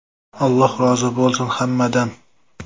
Alloh rozi bo‘lsin hammadan.